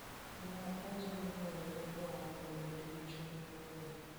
Ne ojiw rowerego mondo obed gi chuny mokuwe.